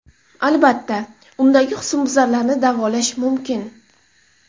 Albatta, undagi husnbuzarlarni davolash mumkin.